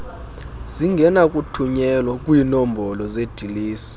zingenakuthunyelwa kwiinombolo zeedilesi